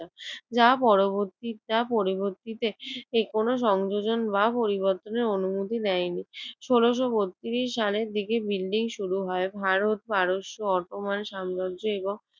যা পরবর্তীরটা পরিবর্তীতে যে কোন সংযোজন বা পরিবর্তনের অনুমতি দেয়নি। ষোলশ বত্রিশ সালের দিকে বিল্ডিং শুরু হয়। ভারত, পারস্য, অটোম্যান সাম্রাজ্য এবং